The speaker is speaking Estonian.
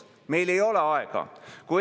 Tõsi, see oli 30 sekundit.